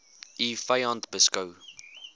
u vyand beskou